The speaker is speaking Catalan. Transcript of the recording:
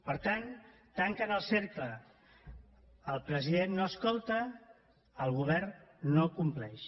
per tant tanquen el cercle el president no escolta el govern no compleix